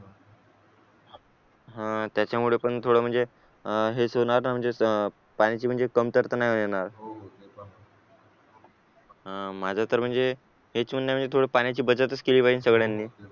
हा त्याच्यामुळे पण थोडं म्हणजे हेच होणार ना म्हणजे पाण्याची म्हणजे कमतरता नाही येणार माझं तर म्हणजे हेच पुन्हा आहे म्हणजे थोडी पाण्याची बचतच केली पाहिजे सगळ्यांनी